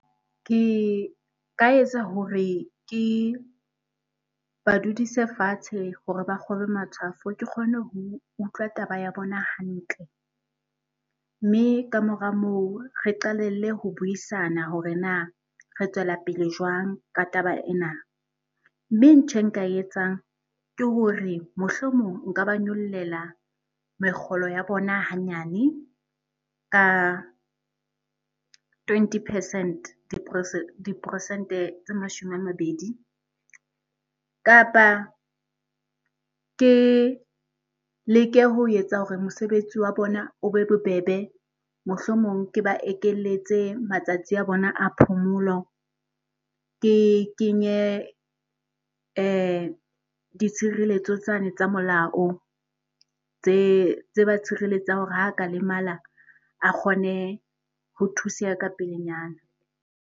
Ke ka etsa hore ke ba dudise fatshe hore ba kgobe matshwafo ke kgone ho utlwa taba ya bona hantle. Mme ka mora moo re qalelle ho buisana hore na re tswela pele jwang ka taba ena. Mme ntho e nka etsang ke hore mohlomong nka ba nyollela mekgolo ya bona hanyane ka twenty percent di diporesente tse mashome a mabedi kapa ke leke ho etsa hore mosebetsi wa bona o be bobebe. Mohlomong ke ba ekeletse matsatsi a bona a phomolo, ke kenye ditshireletso tsane tsa molao tse ba tshireletsang hore ha ka lemala a kgone ho thuseha ka pelenyana.